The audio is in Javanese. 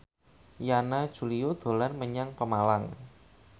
Yana Julio dolan menyang Pemalang